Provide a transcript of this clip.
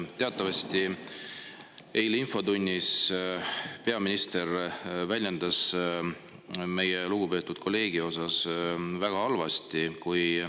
Teatavasti väljendas peaminister end eilses infotunnis meie lugupeetud kolleegi suhtes väga halvasti.